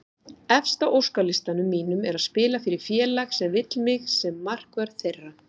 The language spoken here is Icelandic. Efst á óskalistanum mínum er að spila fyrir félag sem vill mig sem markvörð þeirra.